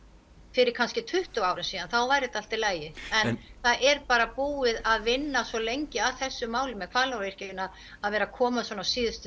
fyrir kannski tuttugu árum síðan þá væri þetta allt í lagi en það er bara búið að vinna svo lengi að þessu máli með Hvalárvirkjunina að vera koma svona á síðustu